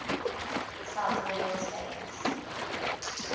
south wales valleys